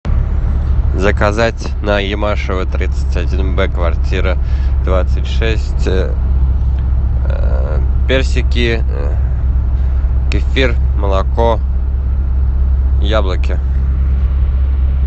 заказать на ямашева тридцать один б квартира двадцать шесть персики кефир молоко яблоки